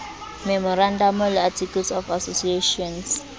memorandamo le articles of association